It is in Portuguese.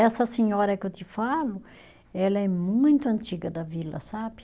Essa senhora que eu te falo, ela é muito antiga da vila, sabe?